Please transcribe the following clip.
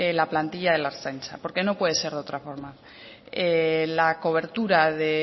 la plantilla de la ertzaintza porque no puede ser de otra forma la cobertura de